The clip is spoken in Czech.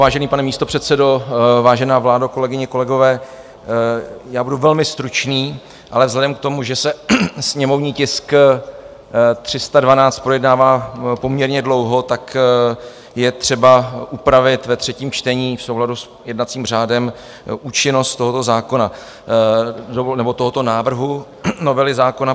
Vážený pane místopředsedo, vážená vládo, kolegyně, kolegové, já budu velmi stručný, ale vzhledem k tomu, že se sněmovní tisk 312 projednává poměrně dlouho, tak je třeba upravit ve třetím čtení v souladu s jednacím řádem účinnost tohoto zákona, nebo tohoto návrhu novely zákona.